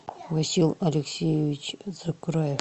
васил алексеевич закраев